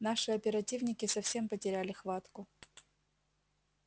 наши оперативники совсем потеряли хватку